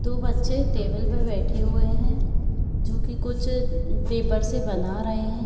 दो बच्चे टेबल पे बैठे हुए हैं जोकि कुछ पेपर से बना रहे हैं।